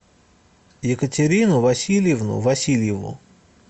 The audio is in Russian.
екатерину васильевну васильеву